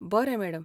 बरें, मॅडम.